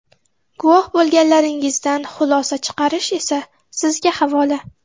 Guvoh bo‘lganlaringizdan xulosa chiqarish esa sizga havola.